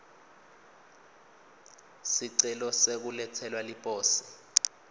sicelo sekuletselwa liposi